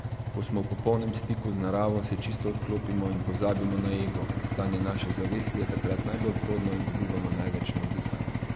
Ko smo v popolnem stiku z naravo, se čisto odklopimo in pozabimo na ego, stanje naše zavesti je takrat najbolj plodno in dobivamo največ navdiha.